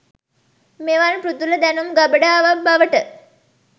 මෙවන් පෘථුල දැනුම් ගබඩාවක් බවට